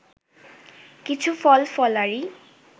কিছু ফলফলারি